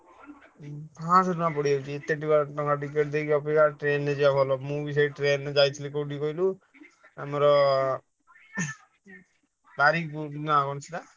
ପାଞ୍ଚଶହ ଟଙ୍କା ପଡ଼ିଯାଉଛି ଏତେ ଟଙ୍କା ଟିକେଟ ଦେଇ ଯିବା ଅପେକ୍ଷା ଟ୍ରେନ ଯିବା ଭଲ ମୁଁ ଭି ସେ ଟ୍ରେନ ରେ ଯାଇଥିଲି କୋଉଠିକୁ କହିଲୁ ଆମର ଉଃ ବାରିକୁଦ ନା କଣ ସେଟା?